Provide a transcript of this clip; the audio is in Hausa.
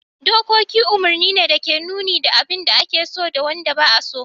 Dokoki umarni ne da ke nuna abin da ake so da wanda ba'a so.